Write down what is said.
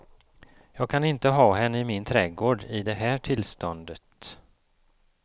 Jag kan inte ha henne i min trädgård i det här tillståndet.